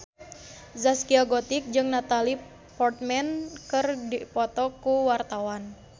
Zaskia Gotik jeung Natalie Portman keur dipoto ku wartawan